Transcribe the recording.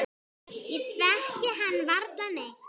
Ég þekki hann varla neitt.